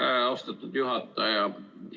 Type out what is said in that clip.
Aitäh, austatud juhataja!